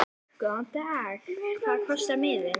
Góðan dag. Hvað kostar miðinn?